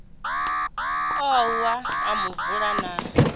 u wa ha muvula na